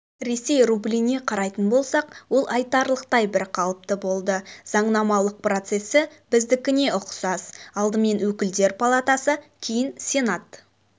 ресей рубліне қарайтын болсақ ол айтарлықтай бірқалыпты болды заңнамалық процесі біздікіне ұқсас алдымен өкілдер палатасы кейін сенат